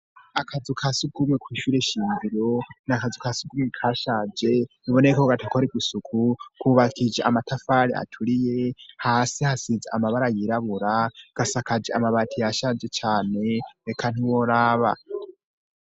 Akazu ka si ukumwe kw ishure shimbiro ni akazu ka si ugumwe ka shaje iboney ko gatakore gusuku kubakija amatafare aturiye hasi hasize amabara yirabura gasakaje amabati ya shaje cane beka ntuworaba.